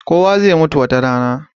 Kowa zai mutu wata rana.